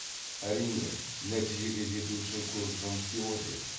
әрине нәтижеге жету үшін көп жұмыс істеу қажет